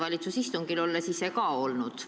Olen ma ju ise ka minister olnud.